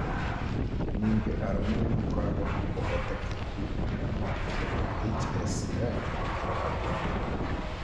Ningĩ arũme nĩ makoragwo na ũhotekeku mũnene wa kũgĩa na HSCR gũkĩra atumia.